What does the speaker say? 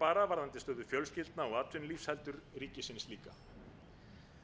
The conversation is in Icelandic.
bara varðandi stöðu fjölskyldna og atvinnulífs heldur ríkisins líka